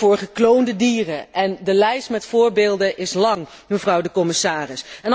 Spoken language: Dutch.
Of voor gekloonde dieren, en de lijst met voorbeelden is lang, mevrouw de commissaris.